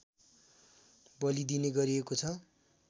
बलिदिने गरिएको छ